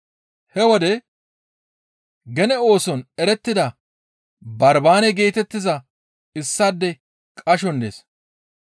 He wode gene ooson erettida Barbaane geetettiza issaadey qashoson dees.